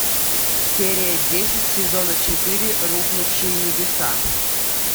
серия десять сезона четыре рухнувшие небеса